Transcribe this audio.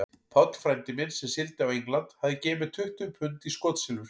Páll frændi minn, sem sigldi á England, hafði gefið mér tuttugu pund í skotsilfur.